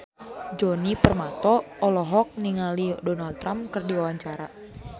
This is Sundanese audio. Djoni Permato olohok ningali Donald Trump keur diwawancara